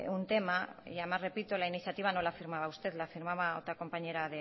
un tema y además repito la iniciativa no la firmaba usted la firmaba otra compañera